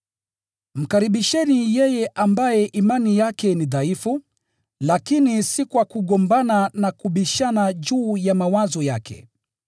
Mkaribisheni yeye ambaye imani yake ni dhaifu, lakini si kwa kugombana na kubishana juu ya mawazo yake.